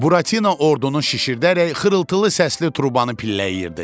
Buratino ordunu şişirdərək xırıltılı səsli turbani pilləyirdi.